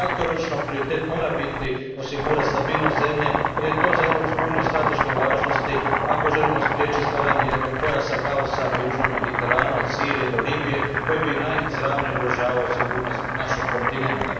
Kratkoročno, prioritet mora biti osigurati stabilnost zemlje, jer je to za Europsku uniju od strateške važnosti, ako želimo spriječiti stvaranje pojasa kaosa na južnom Mediteranu, od Sirije do Libije koji bi najizravnije ugrožavao sigurnost našeg kontinenta.